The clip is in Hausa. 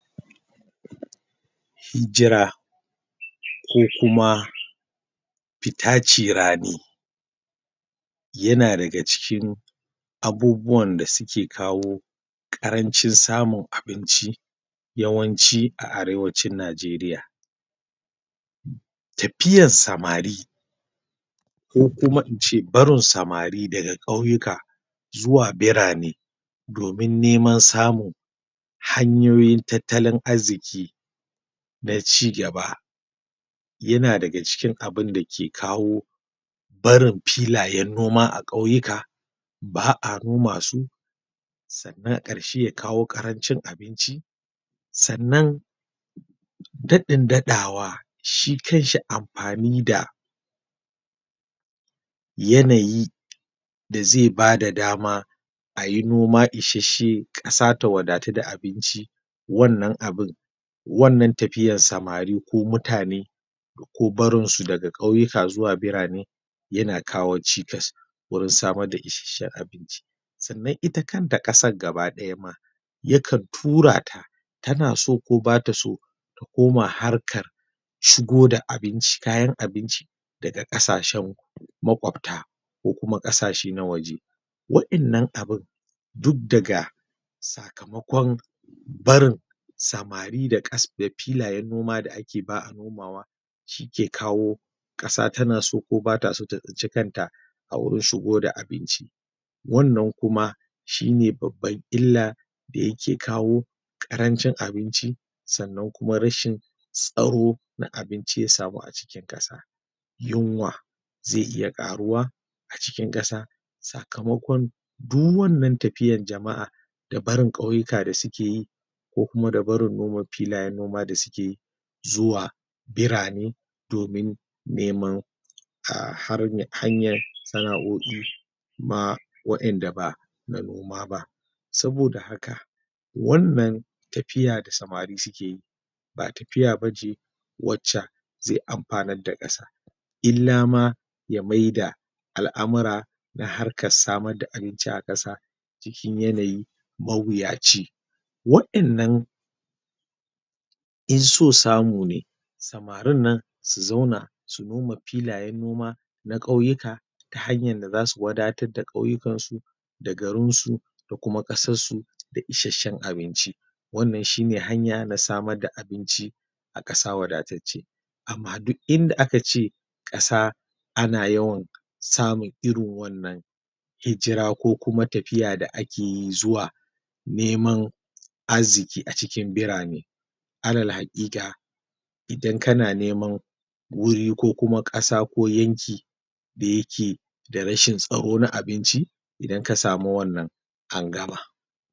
Hijira ko kuma fita ci rani yana daga cikin abubuwan da suke kawo ƙarancin samun abinci yawanci a Arewacin Najeriya tafiyar samari ko kuma in ce barin samari daga ƙauyuka zuwa birane domin neman samun hanyoyin tattalin arziƙi na ci gaba yana daga cikin abun da ke kawo barin filayen noma a ƙauyuka ba a noma su sannan a ƙarshe ya kawo ƙarancin abinci sannan daɗin daɗawa shi kanshi amfani da yanayi da zai ba da dama a yi noma isasshe ƙasa ta wadatu da abinci wannan abun wannan tafiyan samari ko mutane ko barnsu daga ƙauyuka zuwa birane yana kawo cikasa, wurin samar da isassahen abinci, sannan ita kanta ƙasar ga baki ɗaya ma yakantura ta tana so ko ba ta so takoma harka shigoda abinci kayan abinci daga ƙasashen maƙwabata ko kuma ƙasashe na waje wa'innan abun duk daga sakamakon barin samari da filayen noma ba a noma wa shi ke kawo ƙasa tana so ko bata so ta tsinci kanta wurin shigo da abinci wannan kuma shi ne babban illa da yake kawo ƙarancin abinci sannan kuma rashin tsaro na abinci ya samu a cikin ƙasa yunwa zai iya ƙaruwa a cikin ƙasa sakamakon duk wannan tafiyan jama'a da barin ƙauyuka da suke yi ko kuma da barin noma filayen noma da suke yi zuwa birane domin neman a hanyar sana'o'i a wa'in da ba na noma ba. Saboda haka wannan tafiya da samarin suke yi ba tafiya ba ce wacce zai amfanar da ƙasa illama ya maida al'amura na harkar samar da abinci a ƙasa cikin yanayi mawuyaci wa'innan in so samu ne samarin nan su zauna su noma filayen noma na ƙauyuka ta hanyar da za siu wadatar da ƙauyukansu da garinsu da kuma ƙasarsu da isasshen abinci wannan shi ne hanya na samar da abinci a ƙasa wadatacce amma duk in da aka ce a ƙasa ana samun irin wannan hijira ko kuma tafiya da ake yi zuwa neman arziƙi a cikin birane alal haƙiƙa idan kana neman wuri ko kuma ƙasa ko yanki da yake da rashin tsaro na abinci idan ka samu wannan an gama.